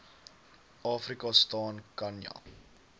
afrika staan khanya